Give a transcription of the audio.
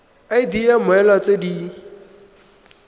id ya mmoelwa tse di